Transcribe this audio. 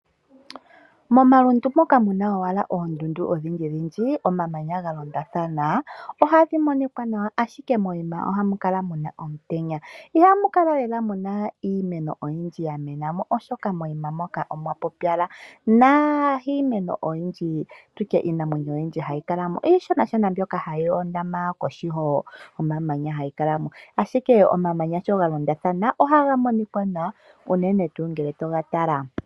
Momalundu moka muna owala ondundu odhindji dhindji omamanya galonda thana ohadhi monika nawa ashike mokuma ohamu kala muna omutenya, ihamukala lela muna iimeno oyindji yamenamo oshoka moyima moka omwa pupyala, na iimeno oyindji tutye Iinamwenyo oyindji hayi kalamo ishona Shona mbyoka hayi hondama kohi gomamanya hayi kalamo ashike sho omamanya galondathana oha ga monika nawa unene tu ngele togatala.